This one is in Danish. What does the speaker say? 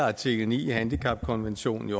at artikel ni i handicapkonventionen